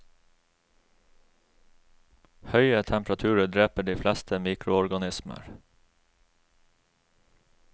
Høye temperaturer dreper de fleste mikroorganismer.